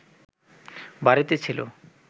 বাড়িতে ছিল